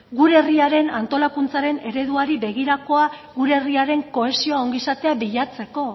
gure herriaren antolakuntzaren ereduari begirakoa gure herriaren kohesioa ongizatea bilatzeko